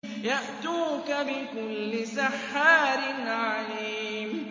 يَأْتُوكَ بِكُلِّ سَحَّارٍ عَلِيمٍ